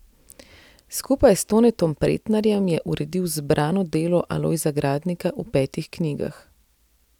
Skupaj s Tonetom Pretnarjem je uredil Zbrano delo Alojza Gradnika v petih knjigah.